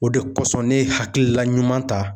O de kosɔn ne ye hakilila ɲuman ta